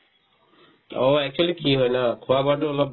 অ, actually কি হয় না খোৱা-বোৱাতো অলপ